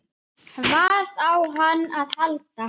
Hvað á hann að halda?